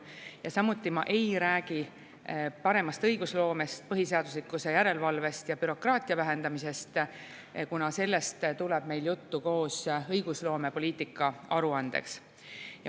Ja samuti ma ei räägi paremast õigusloomest, põhiseaduslikkuse järelevalvest ja bürokraatia vähendamisest, kuna sellest tuleb meil koos juttu õigusloomepoliitika aruandes.